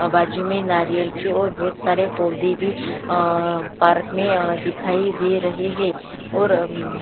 आ बाजू में नारियल की ओर बहोत सारे पौधे भी आ अ पार्क में आ अ दिखाई दे रहे है और--